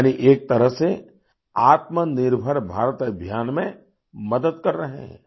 यानि एक तरह से आत्मनिर्भर भारत अभियान में मदद कर रहे हैं